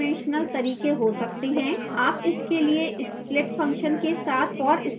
आप इसके लिए split function के साथ for statement संयुक्त कर सकते हैं